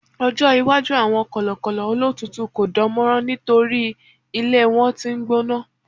ọjọ iwaju awọn kọlọkọlọ olotutu ko dánmọrán nitori ilé wan t'in n gbóná